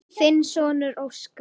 Þinn sonur, Óskar.